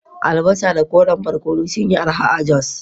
Albasa da koren barkono sun yi arha a Jos